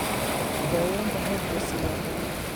Daaweynta hydrocele waa qalliin.